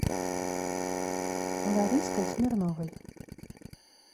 лариской смирновой